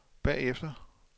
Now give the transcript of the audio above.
bagefter